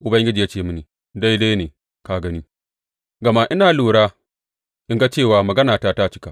Ubangiji ya ce mini, Daidai ne ka gani, gama ina lura in ga cewa maganata ta cika.